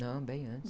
Não, bem antes.